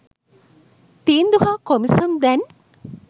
තීන්දු හා කොමිසම් දැන්